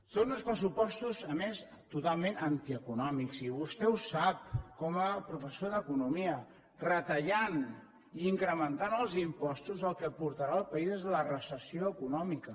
són uns pressupostos a més totalment antieconòmics i vostè ho sap com a professor d’economia retallant i incrementant els impostos el que portarà al país és a la recessió econòmica